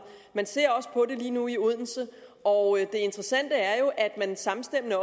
man ser også på det lige nu i odense og det interessante er jo at man samstemmende